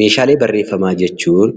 Meeshaalee barreeffamaa jechuun